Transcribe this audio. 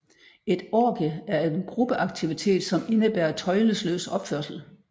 Et orgie er en gruppeaktivitet som indebærer tøjlesløs opførsel